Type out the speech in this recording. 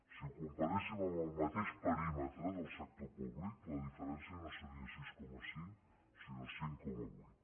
si ho comparéssim amb el mateix perímetre del sector públic la diferència no seria sis coma cinc sinó cinc coma vuit